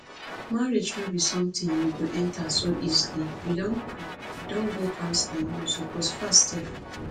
marriage no be something you go enter so easily you don pray you don go counselling you suppose fast sef